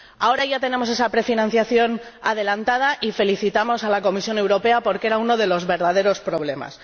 Ahora ya tenemos esa prefinanciación adelantada y felicitamos a la Comisión Europea, porque ese era uno de los verdaderos problemas.